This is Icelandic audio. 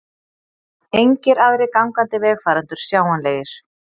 Engir aðrir gangandi vegfarendur sjáanlegir.